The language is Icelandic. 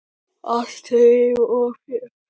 Alltaf líf og fjör.